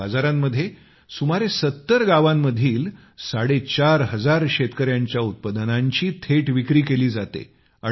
या बाजारांमध्ये सुमारे सत्तर गावांमधील साडेचार हजार शेतकऱ्यांच्या उत्पादनांची थेट विक्री केली जाते